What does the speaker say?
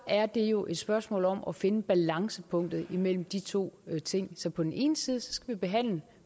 er det jo et spørgsmål om at finde balancepunktet imellem de to ting så på den ene side skal vi behandle